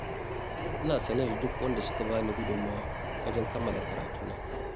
Ina sane da duk waɗanda suka bani gudunmawa wajen kammala karatuna.